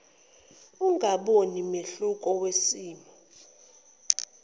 ungaboni mehluko wesimo